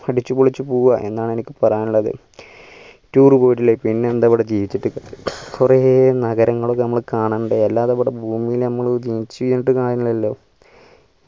അടിച്ചു പൊളിച്ചു പോവുക എന്നാണ് എനിക്ക് പറയാനുള്ളത് tour പോയിട്ടില്ലേൽ പിന്നെന്താണ് ഇവിടെ ജീവിച്ചിട്ട് കാര്യല്ലലോ